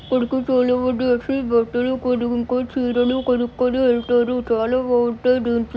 ఇక్కడకి చాలా మంది వచ్చి బట్టలు కొనుకొని చీరలు కొనుకొని వెళ్తారు చాలా బాగుంటాయి దీంట్ల--